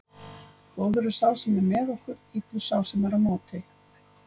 Góður er sá sem er með okkur, illur sá sem er á móti.